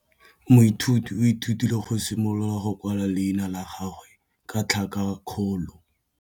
Moithuti o ithutile go simolola go kwala leina la gagwe ka tlhakakgolo.